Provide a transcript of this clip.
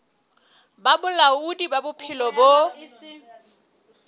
ba bolaodi ba bophelo bo